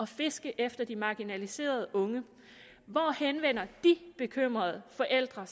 fisket efter de marginaliserede unge hvor henvender de bekymrede forældre